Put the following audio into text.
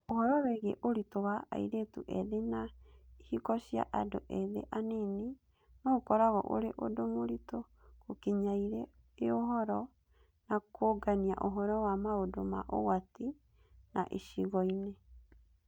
Ũhoro wĩgiĩ ũritũ wa airĩtũ ethĩ na ihiko cia andũ ethĩ anini no ũkoragwo ũrĩ ũndũ mũritũ gũkinyairĩ iũhoro na kũũngania ũhoro wa maũndũ ma ũgwati na icigo-inĩ.